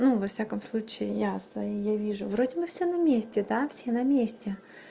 ну во всяком случае ясно я вижу вроде бы всё на месте да все на месте